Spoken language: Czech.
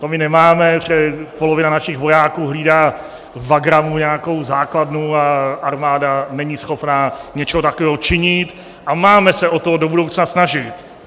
To my nemáme, protože polovina našich vojáků hlídá v Bagrámu nějakou základnu a armáda není schopna něčeho takového činit a máme se o to do budoucna snažit.